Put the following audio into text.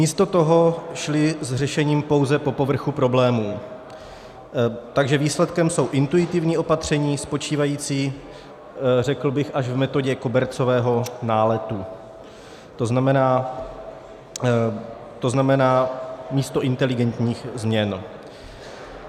Místo toho šli s řešením pouze po povrchu problémů, takže výsledkem jsou intuitivní opatření spočívající, řekl bych, až v metodě kobercového náletu, to znamená místo inteligentních změn.